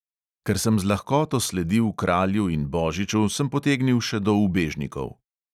Ker sem z lahkoto sledil kralju in božiču, sem potegnil še do ubežnikov.